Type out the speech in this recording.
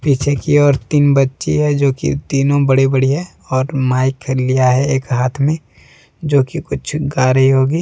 पीछे की ओर तीन बच्ची है जो कि तीनों बड़े बड़ी हैं और माइक लिया है एक हाथ में जो कि कुछ गा रही होगी।